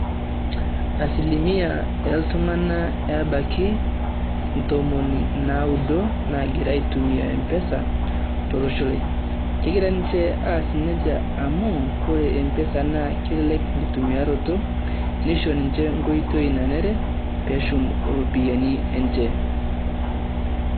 Asilimia oo iltung`anak eabaki ntomoni naudo naagira aitumia mpesa to losho lai. Kegira ninche aas nejia amu ore mpesa naa kelelek enkitumiyaroto, nisho ninche enkoitoi nanare pee eshum irropiyiani enye.